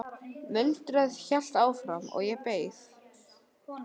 Muldrið hélt áfram og ég beið.